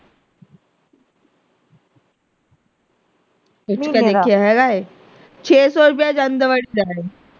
ਵੇਖਿਆ ਹੈਗਾ ਏ ਛੇ ਸੋ ਰੁਪਈਆ ਜਾਂਦੇ ਵਾਰੀ ਦਾ ਲੈ ਰਹੇ।